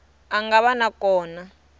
a nga va na kona